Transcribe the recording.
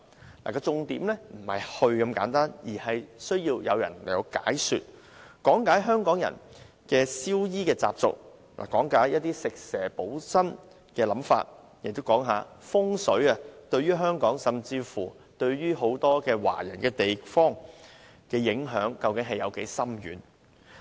重點不是帶遊客去這些地方那麼簡單，而是向遊客講解香港人的燒衣習俗、食蛇補身的概念，以至風水對香港甚或很多華人地方的深遠影響。